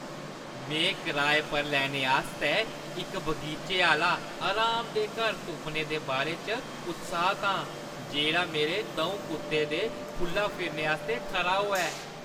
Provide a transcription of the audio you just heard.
में कराए पर लैने आस्तै इक बगीचे आह्‌ला आरामदेह् घर तुप्पने दे बारै च उत्साह्‌त आं, जेह्‌ड़ा मेरे द'ऊं कुत्तें दे खु'ल्ला फिरने आस्तै खरा होऐ।